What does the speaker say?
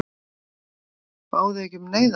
Báðuð þið ekki um neyðarlán?